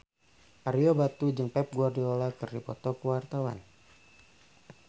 Ario Batu jeung Pep Guardiola keur dipoto ku wartawan